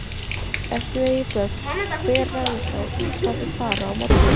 Ef þið eigið börn, hver ræður þá í hvað þau fara á morgnana?